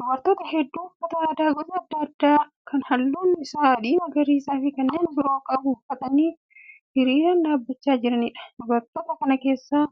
Dubartoota hedduu uffata aadaa gosa adda addaa kan halluun isaa adii, magariisaa fi kanneen biroo qabu uffatanii hiriiraan dhaabbachaa jiraniidha. Dubartoota kana keessaa